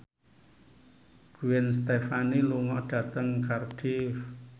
Gwen Stefani lunga dhateng Cardiff